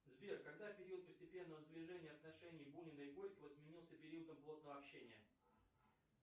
сбер когда период постепенного сближения отношений бунина и горького сменился периодом плотного общения